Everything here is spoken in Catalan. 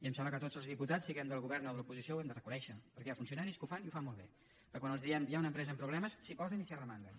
i em sembla que tots els diputats siguem del govern o de l’oposició ho hem de reconèixer perquè hi ha funcionaris que ho fan i ho fan molt bé que quan els diem hi ha una empresa amb problemes s’hi posen i s’hi arromanguen